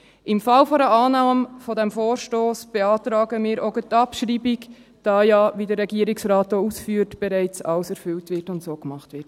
Im Fall einer Annahme dieses Vorstosses beantragen wir auch gerade die Abschreibung, da ja, wie der Regierungsrat auch ausführt, bereits alles erfüllt wird und so gemacht wird.